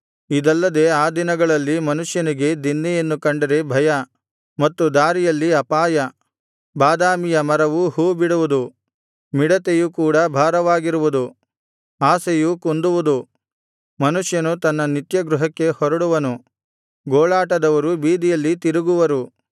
ಇದಲ್ಲದೆ ಆ ದಿನಗಳಲ್ಲಿ ಮನುಷ್ಯನಿಗೆ ದಿನ್ನೆಯನ್ನು ಕಂಡರೆ ಭಯ ಮತ್ತು ದಾರಿಯಲ್ಲಿ ಅಪಾಯ ಬಾದಾಮಿಯ ಮರವು ಹೂ ಬಿಡುವುದು ಮಿಡತೆಯು ಕೂಡಾ ಭಾರವಾಗಿರುವುದು ಆಶೆಯು ಕುಂದುವುದು ಮನುಷ್ಯನು ತನ್ನ ನಿತ್ಯ ಗೃಹಕ್ಕೆ ಹೊರಡುವನು ಗೋಳಾಟದವರು ಬೀದಿಯಲ್ಲಿ ತಿರುಗುವರು